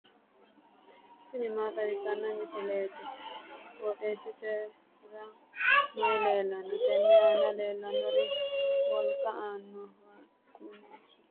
tini maa xawissanno misileeti? qooxeessisera may leellanno? tenne aana leellannori wolqa allaalannoho kuni su'masi maati yinanni? annonketi horo mageeta labbanno'ne.